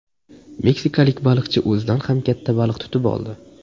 Meksikalik baliqchi o‘zidan ham katta baliq tutib oldi.